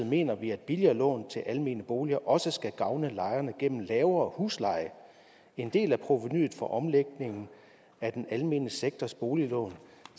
mener vi at billigere lån til almene boliger også skal gavne lejerne gennem lavere husleje en del af provenuet for omlægningen af den almene sektors boliglån